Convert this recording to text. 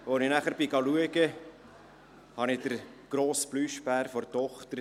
Als ich nachschaute, fand ich den grossen Plüschbären meiner Tochter.